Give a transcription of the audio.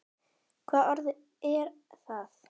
Hvaða orð er það?